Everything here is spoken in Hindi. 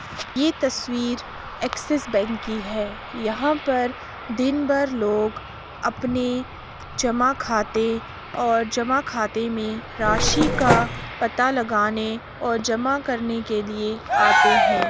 यह तस्वीर ऐक्सिस बैंक की है । यहाँ पर दिन भर लोग अपने जमा खाते और जमा खाते मे राशि का पता लगाने और जमा करने के लिए आते हैं ।